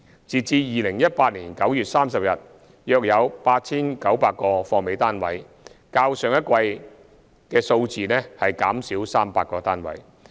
截至2018年9月30日，約有 8,900 個"貨尾"單位，較上一季的數字減少300個單位。